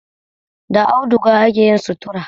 Da auduga akeyin sutura